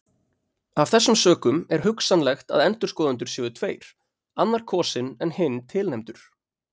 Af þessum sökum er hugsanlegt að endurskoðendur séu tveir annar kosinn en hinn tilnefndur.